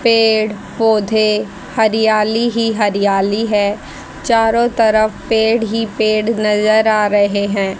पेड़ पौधे हरियाली ही हरियाली है। चारों तरफ पेड़ ही पेड़ नजर आ रहे हैं।